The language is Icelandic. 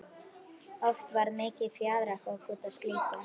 Oft varð mikið fjaðrafok út af slíku.